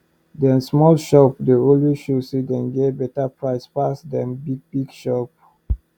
dem small shop dey always show say dem get beta price pass dem big big shop